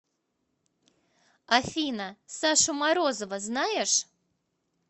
афина сашу морозова знаешь